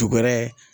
Dugɛrɛ